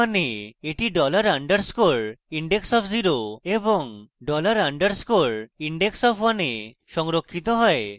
মানে that dollar underscore index of 0 এবং dollar underscore index of 1 এ সংরক্ষিত হয়